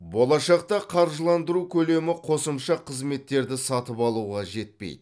болашақта қаржыландыру көлемі қосымша қызметтерді сатып алуға жетпейді